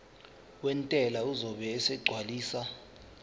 wentela uzobe esegcwalisa